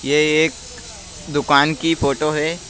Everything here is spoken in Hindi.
ये एक दुकान की फोटो है।